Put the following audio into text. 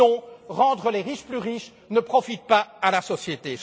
Et, non, rendre les riches plus riches ne profite pas à la société.